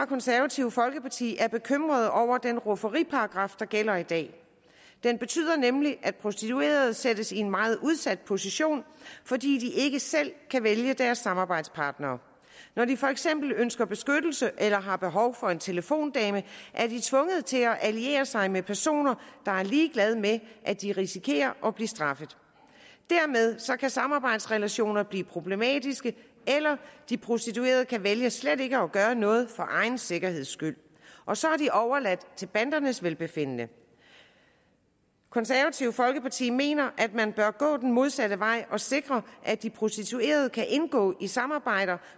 konservative folkeparti er bekymrede over den rufferiparagraf der gælder i dag den betyder nemlig at prostituerede sættes i en meget udsat position fordi de ikke selv kan vælge deres samarbejdspartnere når de for eksempel ønsker beskyttelse eller har behov for en telefondame er de tvunget til at alliere sig med personer der er ligeglade med at de risikerer at blive straffet dermed kan samarbejdsrelationer blive problematiske eller de prostituerede kan vælge slet ikke at gøre noget for egen sikkerheds skyld og så er de overladt til bandernes velbefindende det konservative folkeparti mener at man bør gå den modsatte vej og sikre at de prostituerede kan indgå i samarbejder